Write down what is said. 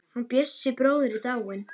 Hann Bjössi bróðir er dáinn.